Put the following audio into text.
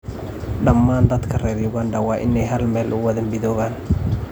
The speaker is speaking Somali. Dhammaan dadka reer Uganda waa in ay hal meel u wada midowaan.